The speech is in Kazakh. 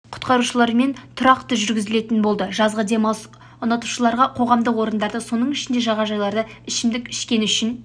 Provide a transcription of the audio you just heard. құтқарушылармен тұрақты жүргізілетін болады жазғы демалысты ұнатушыларға қоғамдық орындарда соның ішінде жағажайларда ішімдік ішкені үшін